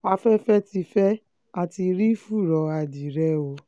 afẹ́fẹ́ ti fẹ́ á ti rí fùrọ̀ adìẹ o